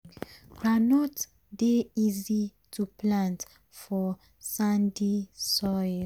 groundnut dey easy to plant for sandy soil.